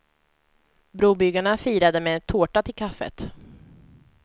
Brobyggarna firade med tårta till kaffet.